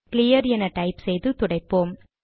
clear என type செய்து துடைப்போம்